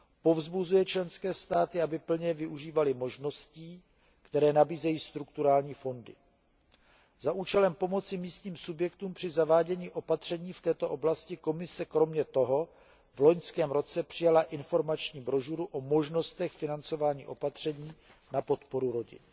Povzbuzuje členské státy, aby plně využívaly možností, které nabízejí strukturální fondy. Za účelem pomoci místním subjektům při zavádění opatření v této oblasti Komise kromě toho v loňském roce přijala informační brožuru o možnostech financování opatření na podporu rodin.